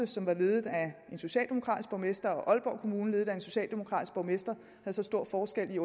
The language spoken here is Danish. som var ledet af en socialdemokratisk borgmester og aalborg kommune ledet af en socialdemokratisk borgmester havde så stor forskel i